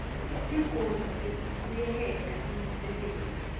tigodzi tekubuyeketa imisebenti